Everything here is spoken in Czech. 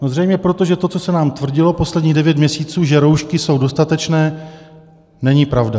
No zřejmě proto, že to, co se nám tvrdilo posledních devět měsíců, že roušky jsou dostatečné, není pravda.